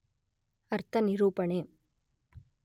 ಅರ್ಥನಿರೂಪಣೆ